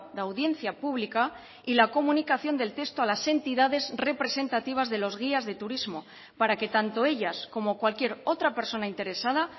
de audiencia pública y la comunicación del texto a las entidades representativas de los guías de turismo para que tanto ellas como cualquier otra persona interesada